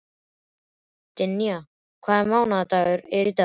Dynja, hvaða mánaðardagur er í dag?